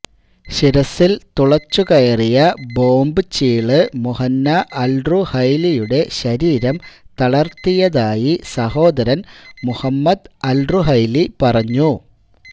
ശിരസ്സിൽ തുളച്ചുകയറിയ ബോംബ് ചീള് മുഹന്ന അൽറുഹൈലിയുടെ ശരീരം തളർത്തിയതായി സഹോദരൻ മുഹമ്മദ് അൽറുഹൈലി പറഞ്ഞു